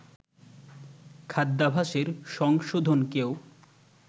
খাদ্যাভ্যাসের সংশোধনকেও